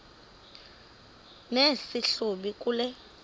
nesi hlubi kule